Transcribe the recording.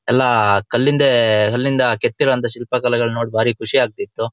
ಎಲ್ಲ ಕಲಿಂದೆ ಕಲಿಂದ ಕೆತ್ತಿ ಇರುವಂತಹ ಶಿಲ್ಪಿ ಕಲೆಗಳನ್ನು ನೋಡಿ ಬಾರಿ ಖುಷಿಯಾಗ್ತಿತ್ತು.